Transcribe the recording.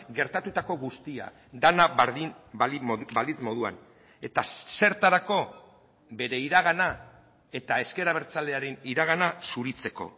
gertatutako guztia dena berdin balitz moduan eta zertarako bere iragana eta ezker abertzalearen iragana zuritzeko